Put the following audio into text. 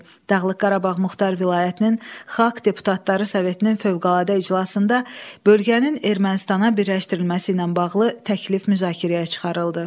Dağlıq Qarabağ Muxtar Vilayətinin Xalq Deputatları Sovetinin fövqəladə iclasında bölgənin Ermənistana birləşdirilməsi ilə bağlı təklif müzakirəyə çıxarıldı.